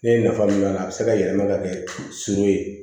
Ne ye nafa min k'a la a bɛ se ka yɛlɛma ka kɛ surun ye